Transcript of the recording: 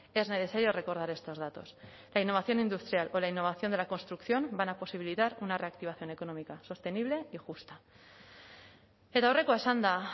es necesario recordar estos datos la innovación industrial con la innovación de la construcción van a posibilidad una reactivación económica sostenible y justa eta aurrekoa esanda